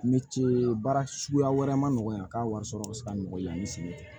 Ni cee baara suguya wɛrɛ man nɔgɔn yan k'a wari sɔrɔ bɛ se ka nɔgɔya an bɛ sɛgɛn